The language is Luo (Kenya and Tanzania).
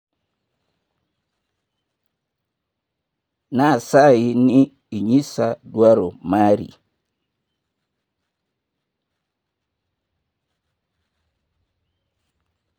Nasayi ni inyisa dwaro mari.